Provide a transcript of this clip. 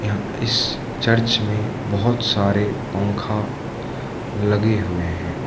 इस चर्च में बहोत सारे पंखा लगे हुए हैं।